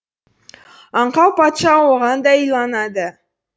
аңқау патша оған да иланады